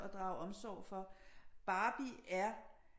Og drage omsorg for Barbie er